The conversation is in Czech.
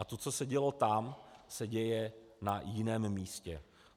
A to, co se dělo tam, se děje na jiném místě.